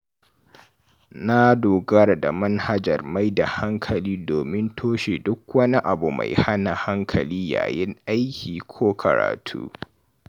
Na dogara da manhajar maida hankali domin toshe duk wani abu mai hana hankali yayin aiki ko karatu.